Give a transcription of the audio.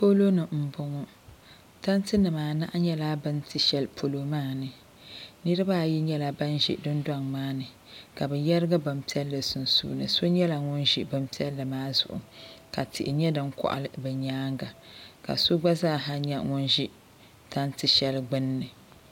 Poloni m boŋɔ tanti nima anahi nyɛla bini ti sheli polo maani niriba ayi nyɛla ban ʒi dundoŋ maani ka bɛ yerigi binpiɛlli sunsuuni so nyɛla ŋun ʒi binpiɛlli maa zuɣu ka tihi nyɛ din koɣali di nyaanga ka so gba zaa ha nyɛ ŋun ʒi tanti sheli gbinni.